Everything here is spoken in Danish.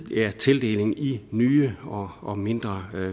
tildeling i nye og og mindre